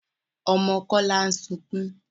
Ọmọ Kọ́lá ń sukún.